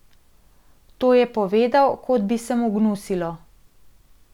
To je povedal, kot bi se mu gnusilo.